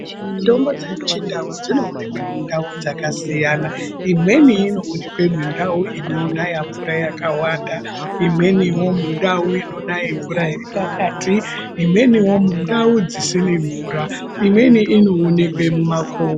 Mitombo dzemuchindau dzinoonekwa mundau dzakasiyana imweni inoonekwa mundau inonaye mvura yakawanda imweniwo mundau inonayao mvura iri pakati imwenio mundau dzisina mvura imweni inoonekwa mumakomo.